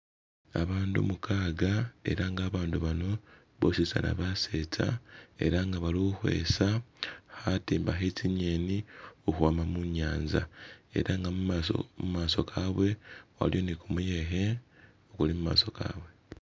Abaandu mukaaga ela nga abaandu bano bositsana basetsa, ela nga bali khukhwesa khatimba khe tsingeni khukhwama munyanza. Ela nga mumaaso kabwe waliyo ni kumuyekhe, kuli mumaaso kabwe.